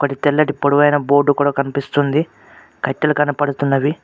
వాటి తెల్లటి పొడవాటి బోర్డు కూడా కనిపిస్తుంది కట్టెలు కనపడుతున్నవి.